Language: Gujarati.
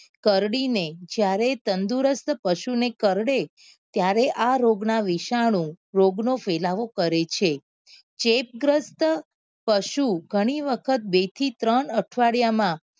કરડી ને જયારે તંદુરસ્ત પશુ ને કરડે ત્યારે આ રોગ ના વિશાનું આ રોગ નો ફેલાવો કરે છે ચેપ ગ્રસ્ત પશુ ગણી વખત બે થી ત્રણ અઠવાડિયા માં